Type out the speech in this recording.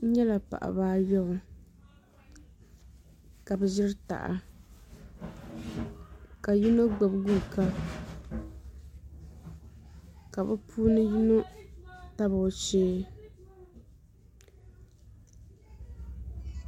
N nyɛla paɣaba ayobu ka bi ʒiri taha ka yino gbubi guuka ka bi puuni yino tabi o shee